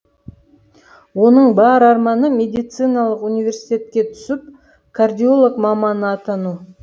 оның бар арманы медициналық университетке түсіп кардиолог маманы атану